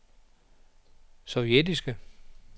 sovjetiske